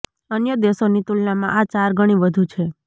અન્ય દેશોની તુલનામાં આ ચાર ગણી વધુ છે